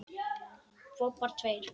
Bobbar tveir.